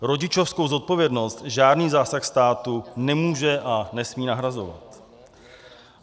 Rodičovskou zodpovědnost žádný zásah státu nemůže a nesmí nahrazovat.